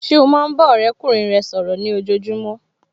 Ṣé o máa ń bá ọ̀rẹ́kùnrin rẹ sọ̀rọ̀ ní ojojúmọ́